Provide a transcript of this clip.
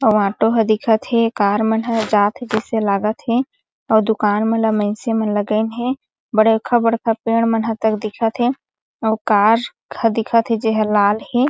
अउ ऑटो ह दिखत हे कार मन ह जात हे जिसे लागत हे अउ दूकान मन ला मइनसें मन लगाइन हे बड़े बड़खा पेड़ मन ह तक दिखत हे अउ कार खा दिखत हे जेह लाल हे।